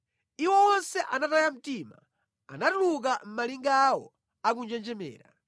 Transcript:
Iwo onse anataya mtima; anatuluka mʼmalinga awo akunjenjemera.